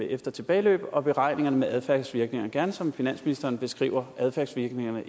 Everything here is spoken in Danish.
efter tilbageløb og beregningerne med adfærdsvirkninger gerne som finansministeren beskriver adfærdsvirkninger